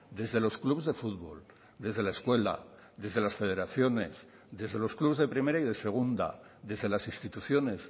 desde los clubs de futbol desde la escuela desde las federaciones desde los clubs de primera y de segunda desde las instituciones